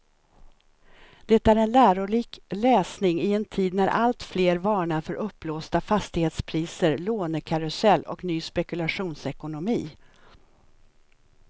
Det är en lärorik läsning i en tid när alltfler varnar för uppblåsta fastighetspriser, lånekarusell och ny spekulationsekonomi.